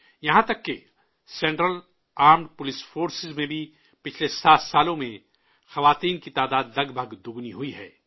یہاں تک کہ سنٹرل آرمڈ پولیس فورسز میں بھی پچھلے سات سالوں میں خواتین کی تعداد تقریباً دو گنی ہوئی ہے